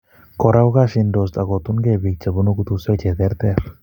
Kora, kokasindosh akotunkei bik che bunu kutuswek che ter ter